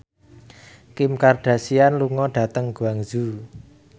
Kim Kardashian lunga dhateng Guangzhou